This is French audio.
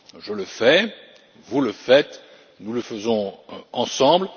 Je le fais, vous le faites, nous le faisons ensemble.